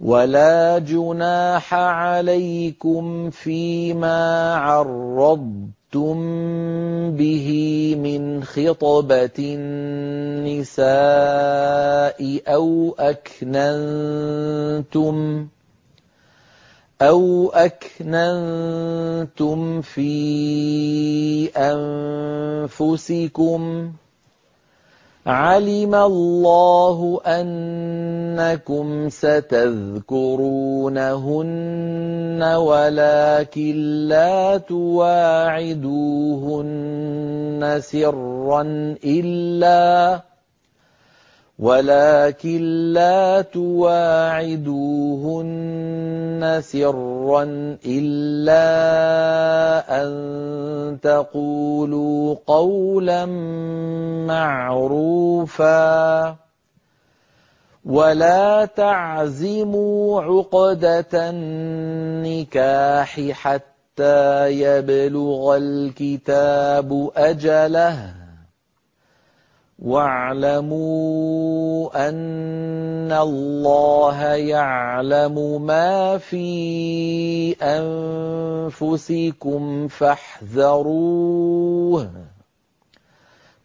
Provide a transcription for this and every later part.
وَلَا جُنَاحَ عَلَيْكُمْ فِيمَا عَرَّضْتُم بِهِ مِنْ خِطْبَةِ النِّسَاءِ أَوْ أَكْنَنتُمْ فِي أَنفُسِكُمْ ۚ عَلِمَ اللَّهُ أَنَّكُمْ سَتَذْكُرُونَهُنَّ وَلَٰكِن لَّا تُوَاعِدُوهُنَّ سِرًّا إِلَّا أَن تَقُولُوا قَوْلًا مَّعْرُوفًا ۚ وَلَا تَعْزِمُوا عُقْدَةَ النِّكَاحِ حَتَّىٰ يَبْلُغَ الْكِتَابُ أَجَلَهُ ۚ وَاعْلَمُوا أَنَّ اللَّهَ يَعْلَمُ مَا فِي أَنفُسِكُمْ فَاحْذَرُوهُ ۚ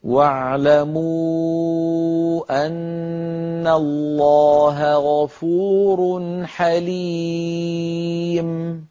وَاعْلَمُوا أَنَّ اللَّهَ غَفُورٌ حَلِيمٌ